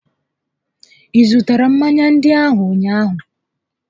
Ị zụtara mmanya ndị ahụ ụnyaahụ?